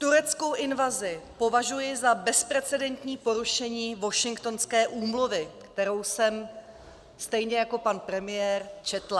Tureckou invazi považuji za bezprecedentní porušení Washingtonské úmluvy, kterou jsem, stejně jako pan premiér, četla.